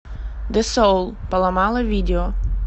десоул поломала видео